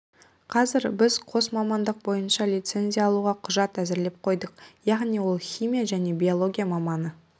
қазір біз қос мамандық бойынша лицензия алуға құжат әзірлеп қойдық яғни ол химия және биология маманы